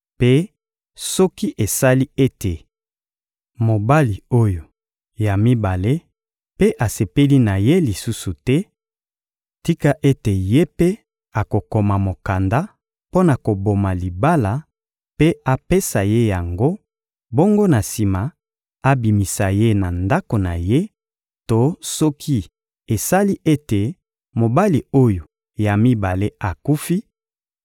Mpe soki esali ete mobali oyo ya mibale mpe asepeli na ye lisusu te, tika ete ye mpe akokoma mokanda mpo na koboma libala mpe apesa ye yango, bongo na sima, abimisa ye na ndako na ye; to soki esali ete mobali oyo ya mibale akufi,